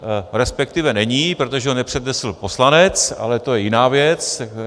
Respektive není, protože ho nepřednesl poslanec, ale to je jiná věc.